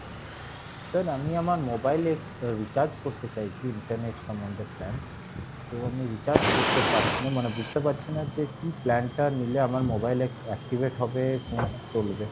sir আমি আমার mobile এ recharge করতে চাইছি internet সম্মন্ধে plan তো আমি recharge করতে পারছি না মানে বুঝতে পারছি না যে কী plan টা নিলে আমার mobile এ activate হবে বা চলবে